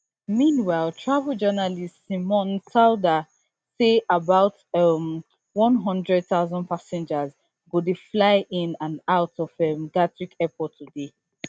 meanwhile travel journalist simon calder say about um one hundred thousand passengers go dey fly in and out of um gatwick airport today